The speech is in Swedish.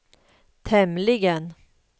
tämligen